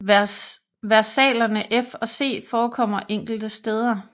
Versalerne F og C forekommer enkelte steder